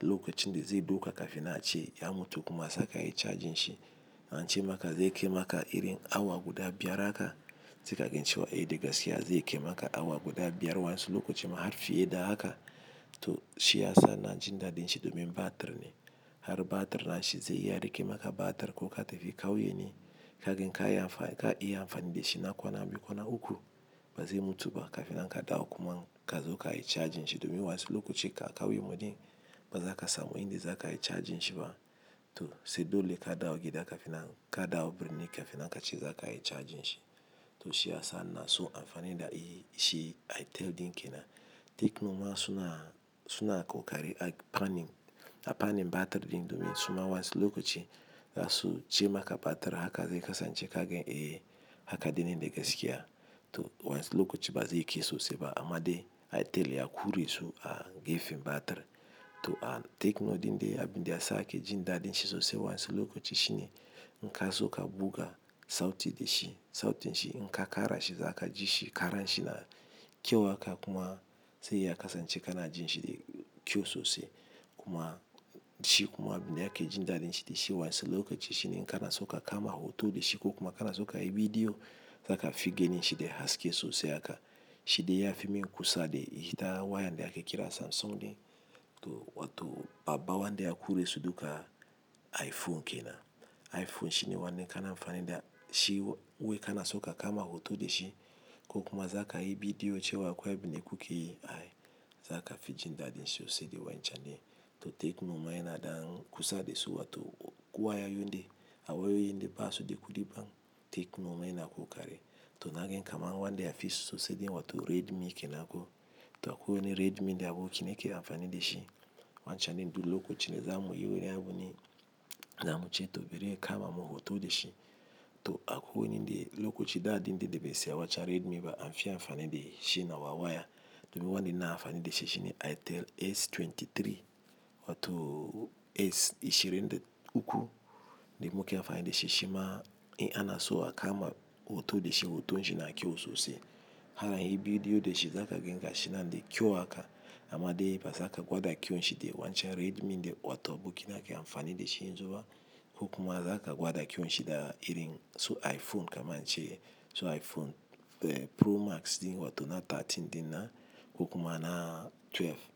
lokacin da zai dauka kafin man a ce ya mutu kuma a saka ayi charging shi an ce maka zai kai maka irin awa guda biyar haka. Sai ka ga cewa eh da gaskiya zai kai maka awa guda biyar wasu lokaci ma har fiye da haka. Toh shi ya sa ina jin daɗin shi domin batir ne, har batir din shi zai iya rike maka batir ko ka tafi kauye ne. Kaga inka iya amfani da shi na kwana biyu, kwana uku ba zai mutu ba kafin nan ka dawo kuma ka zo ka yi charging shi domin wasu lokaci ka muyi ba za ka samu inda za ka yi charging shi ba toh sai dole ka dawo gida kafin nan ka dawo birni kafin nan ka ce za ka yi charging shi. Toh shi ya sa nake son amfani da shi Airtel din kenan. Tecno ma suna ƙokari a fannin- a fannin batir din domin suma wasu lokaci za su ce maka batir zai kasance zaka ga eh haka dinan da gaske. Toh wasu lokaci ba zai kai sosai ba amma dai itel ya ƙure su a gefen batir toh Tecno din dai abin da ya sa ake jin daɗin shi sosai wasu lokaci shi ne in kazo ka buga sauti da shi, sautin shi inka kara shi zaka ji shi kara shi na kyau haka kuma sai ya kasance kana jin shi da kyau sosai kuma shi kuma abin da ake jin daɗin shi da shi wasu lokaci shi ne inka na so ka- kama hoto da shi ko kuma ka na so ka yi bidiyo zaka fi ganin shi da haske sosai haka. Shi dai ya fi min kusa da ita wayan da ake kira Samsung din, wato babban wanda ya ƙure su duka iPhone kenan. iPhone shi ne wanɗa kake amfani da shi wai ka na so ka kama hoto da shi ko kuma za ka yi bidiyo cewa akwai abin da kuke yi ai za ka fi jin daɗin shi sosai da wancan ne. Toh Tecno ma yana ɗan kusa da su wato wayayin da ba su da kuɗi Tecno ma yana ƙokari toh na gani kamar wanɗe ya fi sosai wato Redmi kenan ko toh akwai wani Redmi da abokina yake amfani da shi. Wancan din duk lokacin da zamu yi wani abu ne, zamuce toh biri ya kama mun hoto da shi toh akwai wani lokaci daɗin din da bai saya Redmi ba an fi amfani da na wa waya domin wanda na ke amfani da shi shi ne itel S23 wato S ashirin da uku. Ni muke amfani da shi shi ma in anaso a kama hoto da shi, hoton shi yana kyau sosai. Ana yin bidiyo da shi za ka ganshi mai kyau haka amma dai ba za ka gwada kyaun shi da wancan Redmi din wato da abokina yake amfani da shi yanzu ba ko kuma za ka gwada kyaun shi da irin su iPhone kaman ace su iPhone Pro Max din wato na 13 din na ko kuma na 12.